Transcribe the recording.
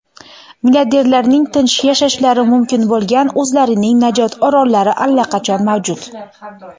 milliarderlarning tinch yashashlari mumkin bo‘lgan o‘zlarining "Najot orollari" allaqachon mavjud.